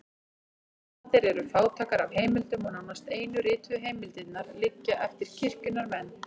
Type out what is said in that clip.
Miðaldir eru fátækar af heimildum og nánast einu rituðu heimildirnar liggja eftir kirkjunnar menn.